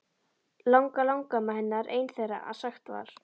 Langalangamma hennar ein þeirra að sagt var.